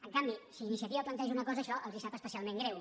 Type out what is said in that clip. en canvi si iniciativa planteja una cosa això els sap especialment greu